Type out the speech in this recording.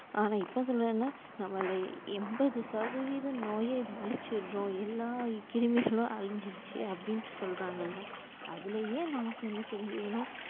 ஆனா இப்போஎன்னன்னா நம்மல்ல என்பது சதவீதம் நோயே அளிச்சுறோம் எல்லா கிருமிகளும் அளிஞ்சுருச்சு அப்டின்ட்டு சொல்றாங்கல்ல அதுலயே நமக்கு என்ன தெரிஞ்சுக்கணும்